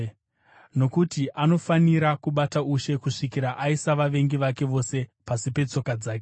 Nokuti anofanira kubata ushe kusvikira aisa vavengi vake vose pasi petsoka dzake.